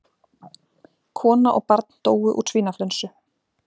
Kona og barn dóu úr svínaflensu